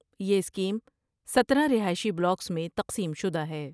یہ سکیم سترہ رہائشی بلاکس میں تقسیم شدہ ہے۔